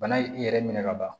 Bana ye i yɛrɛ minɛ ka ban